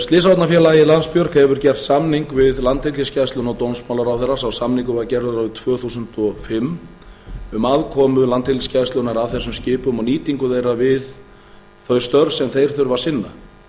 slysavarnafélagið landsbjörg hefur gert samning við landhelgisgæsluna og dómsmálaráðherra sá samningur var gerður árið tvö þúsund og fimm um aðkomu landhelgisgæslunnar að þessum skipum og nýtingu þeirra við þau störf sem þeir þurfa að